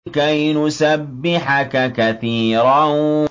كَيْ نُسَبِّحَكَ كَثِيرًا